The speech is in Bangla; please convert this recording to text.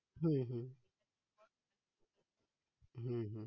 হম হম হম